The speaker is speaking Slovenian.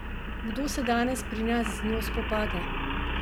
Kdo se danes pri nas z njo spopade?